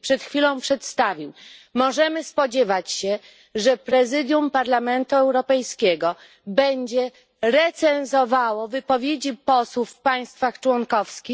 przed chwilą przedstawił, możemy spodziewać się, że Prezydium Parlamentu Europejskiego będzie recenzowało wypowiedzi posłów w państwach członkowskich?